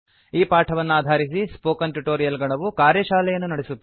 ಈ ಪಾಠವನ್ನಾಧಾರಿಸಿ spoken tutorial ಗಣವು ಕಾರ್ಯಶಾಲೆಯನ್ನು ನಡೆಸುತ್ತದೆ